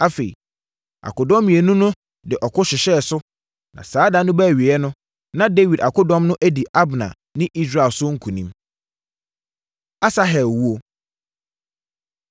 Afei, akodɔm mmienu no de ɔko hyehyɛɛ so, na saa da no baa awieeɛ no, na Dawid akodɔm no adi Abner ne Israel so nkonim. Asahel Owuo